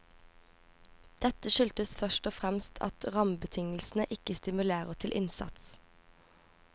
Dette skyldes først og fremst at rammebetingelsene ikke stimulerer til innsats.